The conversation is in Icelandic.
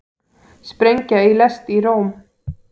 Sprengja í lest í Róm